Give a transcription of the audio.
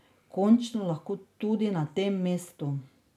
Končno lahko tudi na tem mestu.